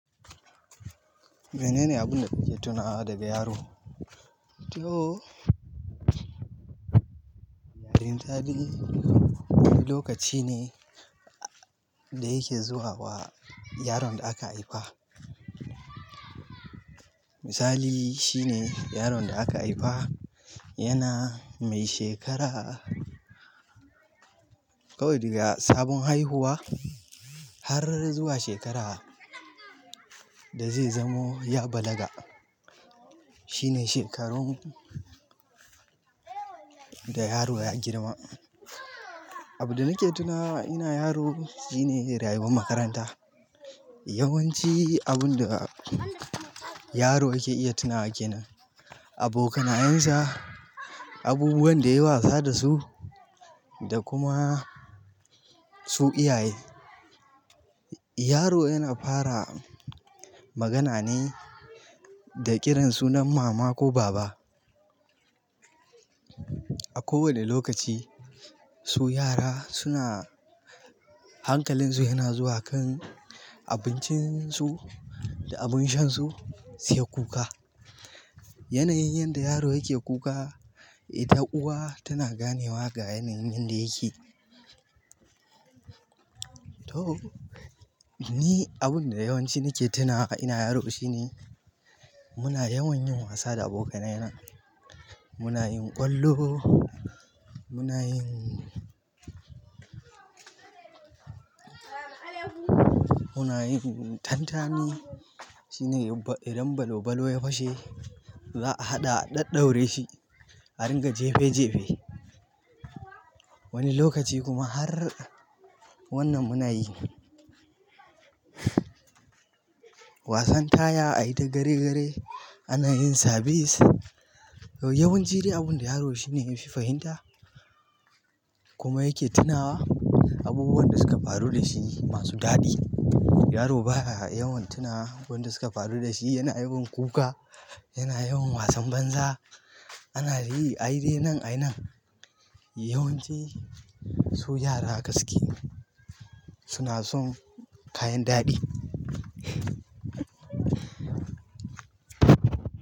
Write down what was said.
Mene ne abun da kike tuna daga yaro? To, yarinta dai lokaci ne da yake zuwa wa yaron da aka haifa. Misali, shine yaron da aka haifa yana mai shekara kawai daga sabon haihuwa har zuwa shekara da zai zamo ya balaga. Shine shekarun da yaro ya girma. Abin da nake tunawa ina yaro shine rayuwar makaranta. Yawanci abunda yaro yake iya tunawa kenan, abokanayensa, abubuwan da yayi wasa da su da kuma su iyaye. Yaro yana fara magana ne da kiran sunan mama ko baba. A kowane lokaci su yara suna hankalin su yana zuwa kan abincin su da abin sha su, suke kuka. Yanayin yanda yaro yake kuka ita uwa tana ganewa ga yanayin yanda yake. To, ni abin da yawanci nake tunawa ina yaro shine muna yawan yin wasa da abokanai na. Muna yin ƙwallo, muna yin, muna yin tantani. Shine idan balan balan ya fashe za'a haɗa a daddaure shi a rinƙa jefe jefe. Wani lokaci kuma har wannan muna yi. Wasan taya a yi ta gare gare, ana yin sabis. Yawanci abin da yaro shine yafi fahimta kuma yake tunawa abubuwan da suka faru da shi masu daɗi. Yaro baya yawan tuna waɗanda suka faru da shi. Yana yawan kuka, yana yawan wasan banza. Ana yi ayi dainan ayinan. Yawanci su yara ahaka suke suna son kayan daɗi.